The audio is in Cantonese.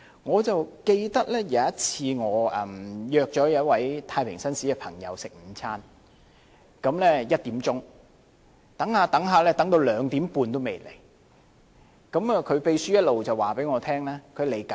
我記得有一次，我約了一位太平紳士朋友在下午1時午膳，等到2時半，他還未到，他的秘書一直通知我他在途中。